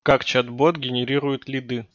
как чат-бот генерирует лиды